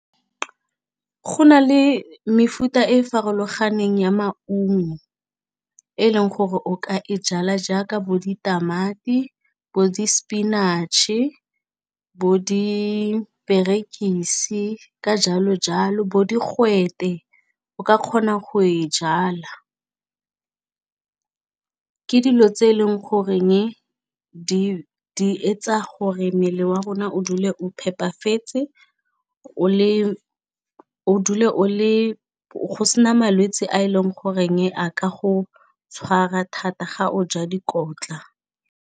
Go na le mefuta e farologaneng ya maungo e leng gore o ka e jala jaaka bo ditamati, bo di spinach-e, bo diperekisi ka jalo jalo, bo digwete o ka kgona go e jala. Ke dilo tse e leng goreng di etsa gore mmele wa rona o dule o phepafetse o dule o le go se na malwetse a e leng goreng a ka go tshwara thata ga o ja dikotla.